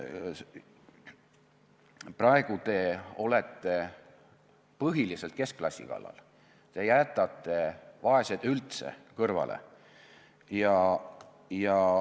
Praegu te olete põhiliselt keskklassi kallal, te jätate vaesed üldse kõrvale.